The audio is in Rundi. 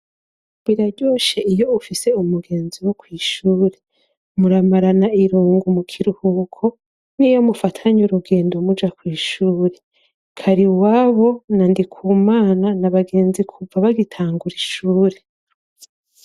Biraryoshe iyo ufise umugenzi wo kw'ishure. Muramarana irungu mu kiruhuko niyo mufatanye urugendo muja kw'ishure Kariwabo na Ndikumana ni abagenzi kuva bagitangura ishure.